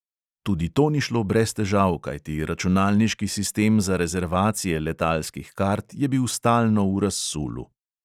Tudi to ni šlo brez težav, kajti računalniški sistem za rezervacije letalskih kart je bil stalno v razsulu.